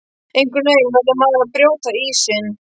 Einhvern veginn verður maður að brjóta ísinn